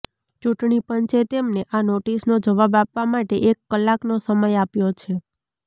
ચૂંટણી પંચે તેમને આ નોટિસનો જવાબ આપવા માટે એક કલાકનો સમય આપ્યો છે